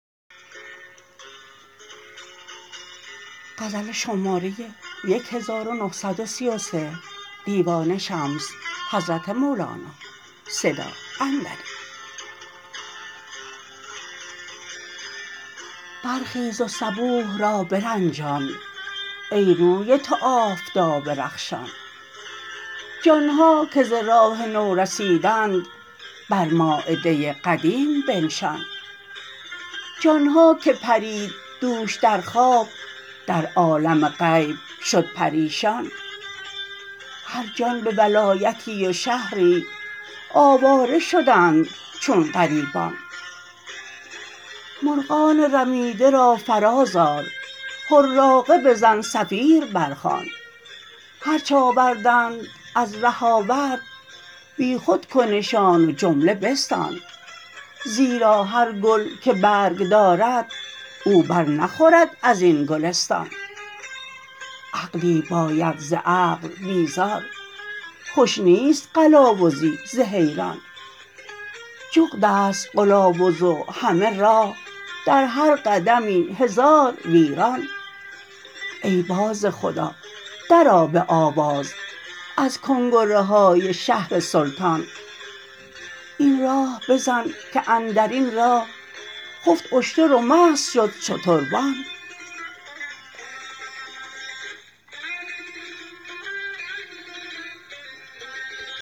برخیز و صبوح را برنجان ای روی تو آفتاب رخشان جان ها که ز راه نو رسیدند بر مایده قدیم بنشان جان ها که پرید دوش در خواب در عالم غیب شد پریشان هر جان به ولایتی و شهری آواره شدند چون غریبان مرغان رمیده را فرازآر حراقه بزن صفیر برخوان هرچ آوردند از ره آورد بیخود کنشان و جمله بستان زیرا هر گل که برگ دارد او بر نخورد از این گلستان عقلی باید ز عقل بیزار خوش نیست قلاوزی زحیران جغد است قلاوز و همه راه در هر قدمی هزار ویران ای باز خدا درآ به آواز از کنگره های شهر سلطان این راه بزن که اندر این راه خفت اشتر و مست شد شتربان